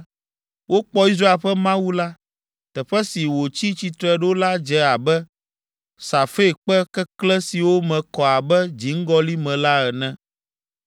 Wokpɔ Israel ƒe Mawu la. Teƒe si wòtsi tsitre ɖo la dze abe safirkpe keklẽ siwo me kɔ abe dziŋgɔli me la ene.